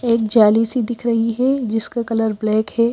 एक जाली सी दिख रही है जिसका कलर ब्लैक है।